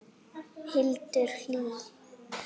Hildur Hlín.